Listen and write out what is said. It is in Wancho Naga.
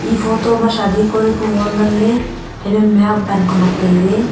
ee photo ma sadi kori ku hall nganley haiphaima ban khonak tailey.